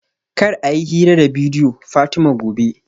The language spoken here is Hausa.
Kar a yi hira da bidiyo Fatima gobe